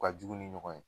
U ka jugu ni ɲɔgɔn ye